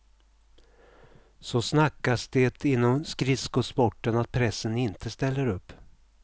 Så snackas det inom skridskosporten att pressen inte ställer upp.